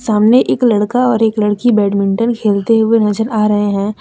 सामने एक लड़का और एक लड़की बैडमिंटन खेलते हुए नजर आ रहे हैं।